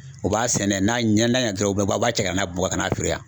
U b'a sɛnɛ n'a ɲɛ ɲɛna dɔrɔn u b'a u b'a cɛ ka na Bamakɔka na feere yan